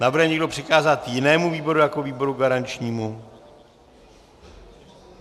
Navrhuje někdo přikázat jinému výboru jako výboru garančnímu?